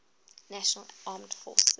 national armed forces